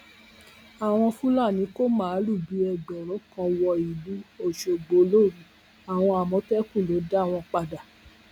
àwọn fúlàní kò máàlù bíi ẹgbẹrún kan wọ ìlú ọṣọgbó lóru àwọn àmọtẹkùn ló dá wọn padà